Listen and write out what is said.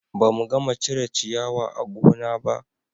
Ba mu gama cire ciyawa a gona ba